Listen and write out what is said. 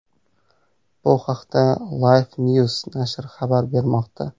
Bu haqda LifeNews nashri xabar bermoqda .